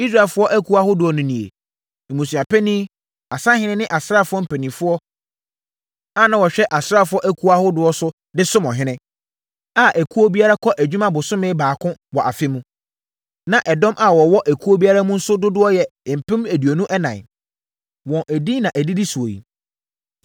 Israelfoɔ akuo ahodoɔ no nie—mmusuapanin, asahene ne asraafoɔ mpanimfoɔ a na wɔhwɛ asraafoɔ akuo ahodoɔ so de som ɔhene, a ekuo biara kɔ adwuma bosome baako wɔ afe mu. Na ɛdɔm a wɔwɔ ekuo biara mu nso dodoɔ yɛ mpem aduonu ɛnan (24,000). Wɔn edin na ɛdidi soɔ yi: